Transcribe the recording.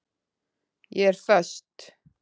Ég er föst.